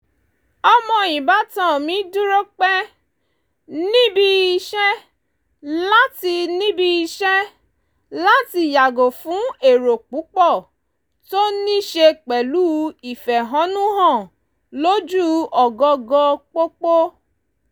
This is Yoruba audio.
ọmọ ìbátan mi dúró pẹ́ níbi iṣẹ́ láti níbi iṣẹ́ láti yàgò fún èrò púpọ̀ tó ní ṣe pẹ̀lú ìfẹ̀hónú-hàn lójú ọ̀gangan pópó